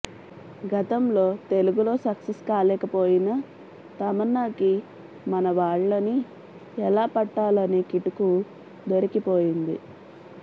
గతంలో తెలుగులో సక్సెస్ కాలేకపోయిన తమన్నాకి మన వాళ్ళని ఎలా పట్టాలనే కిటుకు దొరికిపోయింది